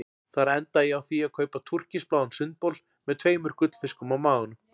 Þar endaði ég á því að kaupa túrkisbláan sundbol með tveimur gullfiskum á maganum.